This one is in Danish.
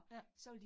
Ja